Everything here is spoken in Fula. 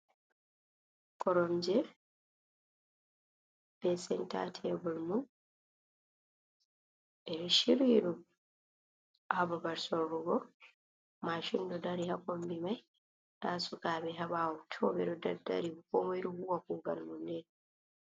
Koromje, be senta tebur mum, ɓe ɗo shiryi ɗum ha babal sorrugo. Mashin ɗo dari ha kombi mai. Nda sukaɓe ha ɓawo to ɓe ɗo daddari. Komoi ɗo huwa kugal mum ni.